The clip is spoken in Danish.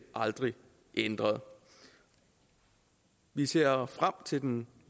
aldrig ændret vi ser folkeparti frem til den